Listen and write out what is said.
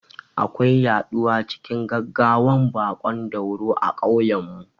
Akwai yaɗuwa cikin gaggawan baƙon dauro a kauyen mu